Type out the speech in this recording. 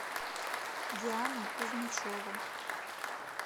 диана кузьмичева